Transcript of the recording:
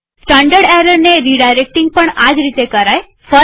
standard એરરને redirecting પણ આજ રીતે કરાય છે